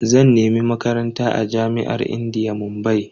Zan nemi Makaranta a jami'ar indiya, Mumbai.